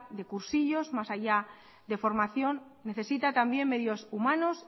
de cursillos más allá de formación necesita también medios humanos